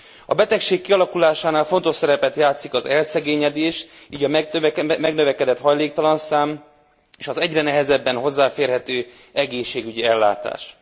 A betegség kialakulásánál fontos szerepet játszik az elszegényedés, így a megnövekedett hajléktalanszám és az egyre nehezebben hozzáférhető egészségügyi ellátás.